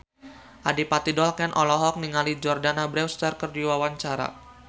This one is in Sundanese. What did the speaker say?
Adipati Dolken olohok ningali Jordana Brewster keur diwawancara